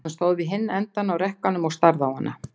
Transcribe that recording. Hann stóð við hinn endann á rekkanum og starði á hana.